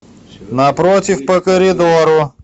напротив по коридору